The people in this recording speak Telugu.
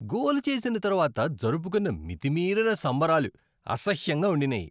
గోల్ చేసిన తర్వాత జరుపుకున్న మితిమీరిన సంబరాలు అసహ్యంగా ఉండినాయి.